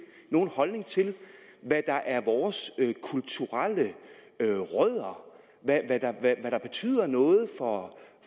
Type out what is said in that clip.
nogen holdning til hvad der er vores kulturelle rødder og hvad der betyder noget